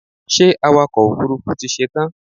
Ṣé awakọ̀ òfurufú ti ṣetán?